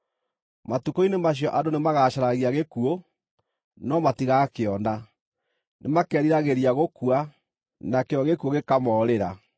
Matukũ-inĩ macio andũ nĩmagacaragia gĩkuũ, no matigakĩona; nĩmakeriragĩria gũkua, nakĩo gĩkuũ gĩkamoorĩra.